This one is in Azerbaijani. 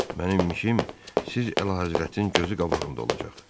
Mənim işim siz əlahəzrətin gözü qabağında olacaq.